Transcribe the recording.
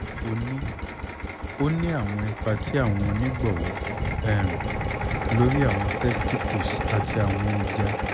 o ni o ni awọn ipa ti awọn onigbọwọ um lori awọn testicles ati awọn eja